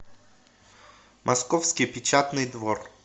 московский печатный двор